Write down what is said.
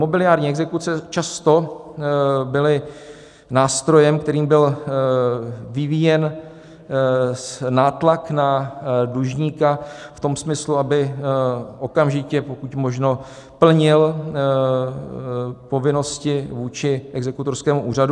Mobiliární exekuce často byly nástrojem, kterým byl vyvíjen nátlak na dlužníka v tom smyslu, aby okamžitě pokud možno plnil povinnosti vůči exekutorskému úřadu.